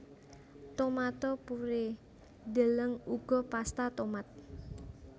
Tomato purée deleng uga pasta tomat